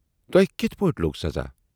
" "تۅہہِ کِتھ پٲٹھۍ لوگ سزا؟